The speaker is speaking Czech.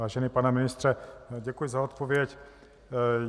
Vážený pane ministře, děkuji za odpověď.